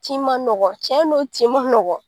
Tin ma nɔgɔ cɛn no tin ma nɔgɔ